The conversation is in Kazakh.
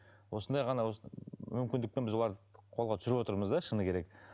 осындай ғана осы мүмкіндікпен біз оларды қолға түсіріп отырмыз да шыны керек